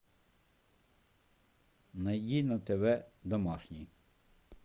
найди на тв домашний